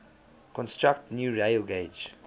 construct new railgauge